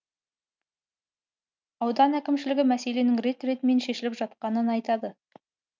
аудан әкімшілігі мәселенің рет ретімен шешіліп жатқанын айтады